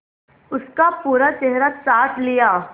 उसका पूरा चेहरा चाट लिया